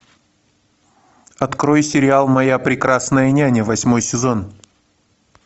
открой сериал моя прекрасная няня восьмой сезон